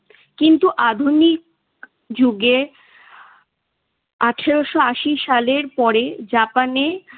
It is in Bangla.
কিন্তু আধুনিক যুগে আঠারোশো আশি সালের পরে জাপানে